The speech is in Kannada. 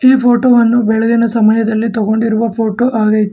ಈ ಫೋಟೋವನ್ನು ಬೆಳಗಿನ ಸಮಯದಲ್ಲಿ ತಗೊಂಡಿರುವ ಫೋಟೋ ಆಗೈತೆ.